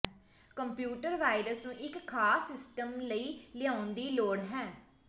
computer virus ਨੂੰ ਇੱਕ ਖਾਸ ਸਿਸਟਮ ਲਈ ਲਿਆਉਣ ਦੀ ਲੋੜ ਹੈ